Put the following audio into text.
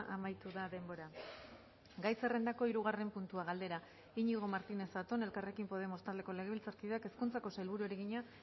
amaitu da denbora gai zerrendako hirugarren puntua galdera iñigo martínez zatón elkarrekin podemos taldeko legebiltzarkideak hezkuntzako sailburuari egina